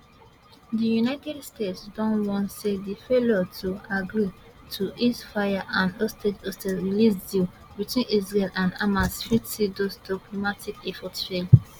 di united states don warn say di failure to agree to ceasefireand hostage hostage release deal between israel and hamas fit see those diplomatic efforts fail